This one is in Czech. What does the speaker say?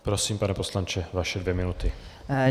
Prosím, pane poslanče, vaše dvě minuty.